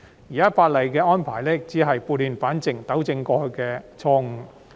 現時《條例草案》的安排只是撥亂反正，糾正過去的錯誤。